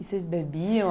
E vocês bebiam?